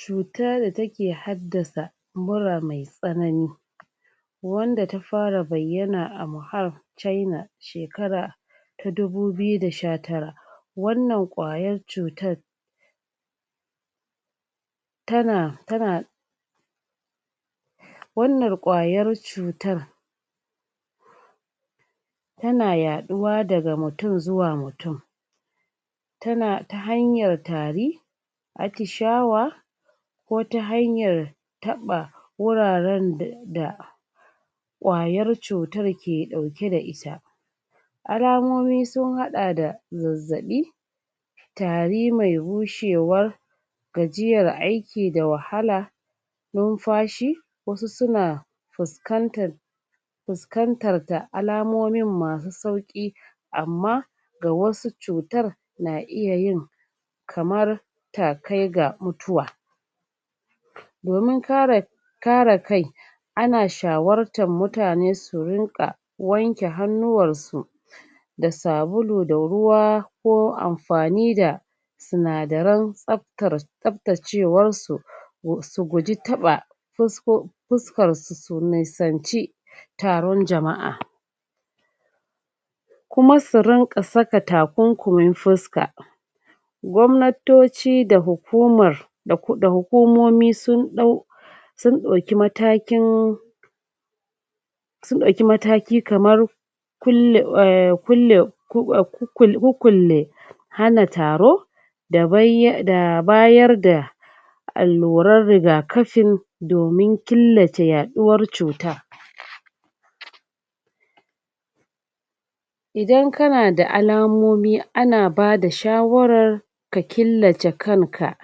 cuta da take haddasa mura me tsanani wanda ta fara bayyana a muhar chaina shekata ta dubu biyu da sha tara wannan ƙwayar cutar tana wannan kwayar cutar tana ya ɗuwa daga mutum zuwa mutum ta hanyar tari atishawa ko ta hanyar taba wuraran da ƙayar cutar ke ɗauke da ita alamomi sun haɗa da zazzaɓi tari mai bushewar gajiyar aiki da wahala nunfashi wasu suna fuskantar fuskantar ta alamomin masu sauƙi amma ga wasu cutar na iyayin kamar takai ga mutuwa domin kare kai ana shawartar mutane su rinka wanke hannuwansu da sabulu da ruwa ko amfani da suna daran tsaftacewarsu su guji taba fuskarsu su nisanci taron jama'a kuma su rinƙa saka takunkumin fuska gwamnatoci da hukumar da hukumomi sun ɗau matakin sun ɗauki mataki kamar kulle. kukkulle hana taro da bayar da alluran ragakafin domin killace yaɗuwar cuta idan kana da alamomi ana bada shawarar ka killace kanka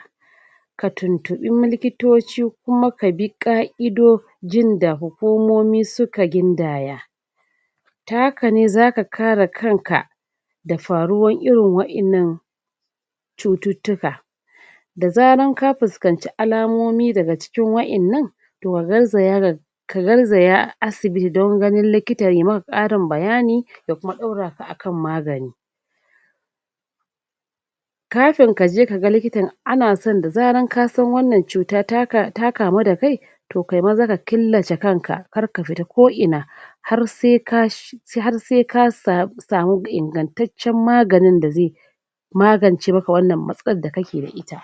ka tuntuɓi likito ci kuma kabi ƙa'idojin da hukumomi suka gindaya ta hakane zaka kare kanka da faruwar irin wa innan cututtuka da zaran ka fusanci alamomi daga cikin wa innan to ka garzaya ka garzaya asibiti don ganin likita ya maka ƙarin bayani da kuma ɗaura ka akan magani kafin kaje kaga likita anasan da zaran kasan wannan cuta ta kamu da kai to kai maza ka killace kanka karka fita ko ina har sai ka samu ingantatcan maganin da zai magance maka wannan matsalar da kake da ita